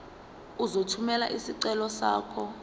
uzothumela isicelo sakho